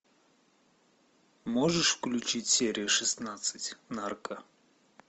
можешь включить серию шестнадцать нарко